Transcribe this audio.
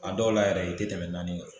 A dɔw la yɛrɛ i te tɛmɛ naani kan